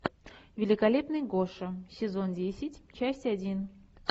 великолепный гоша сезон десять часть один